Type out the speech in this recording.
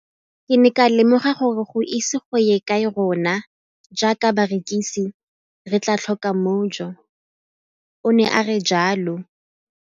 Ke ne ka lemoga gore go ise go ye kae rona jaaka barekise re tla tlhoka mojo, o ne a re jalo.